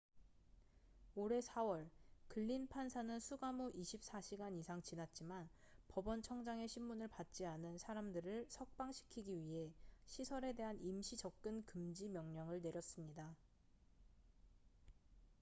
올해 4월 글린 판사는 수감 후 24시간 이상 지났지만 법원 청장의 심문을 받지 않은 사람들을 석방시키기 위해 시설에 대한 임시 접근 금지 명령을 내렸습니다